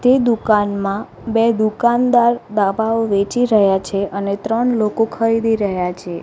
તે દુકાનમાં બે દુકાનદાર દાબાઓ વેચી રહ્યા છે અને ત્રણ લોકો ખરીદી રહ્યા છે.